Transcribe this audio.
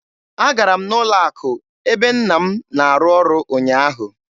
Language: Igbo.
Agara m n'ụlọ akụ ebe nna m na-arụ ọrụ ụnyaahụ.